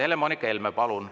Helle-Moonika Helme, palun!